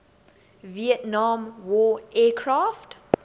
vietnam war aircraft